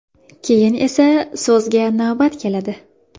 Keyin esa so‘zga navbat keladi”.